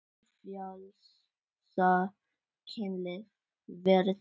Hið frjálsa kynlíf verður til.